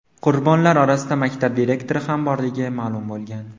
Qurbonlar orasida maktab direktori ham borligi ma’lum bo‘lgan.